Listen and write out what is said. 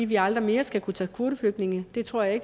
vi aldrig mere skal kunne tage kvoteflygtninge det tror jeg